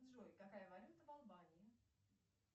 джой какая валюта в албании